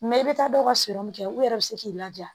i bɛ taa dɔ ka sɔrɔ min kɛ u yɛrɛ bɛ se k'i laja